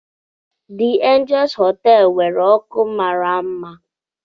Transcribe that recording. Dị Anjels họteelụ nwere ọkụ mara mma.